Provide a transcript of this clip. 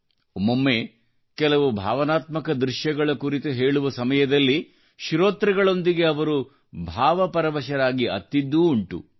ಒಮ್ಮೊಮ್ಮೆ ಕೆಲವು ಭಾವನಾತ್ಮಕ ದೃಶ್ಯಗಳ ಕುರಿತು ಹೇಳುವ ಸಮಯದಲ್ಲಿ ಶ್ರೋತೃಗಳೊಂದಿಗೆ ಅವರೂ ಭಾವಪರವಶರಾಗಿ ಅತ್ತಿದ್ದೂ ಉಂಟು